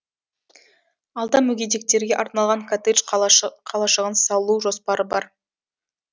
алда мүгедектерге арналған коттедж қалашығын салу жоспары бар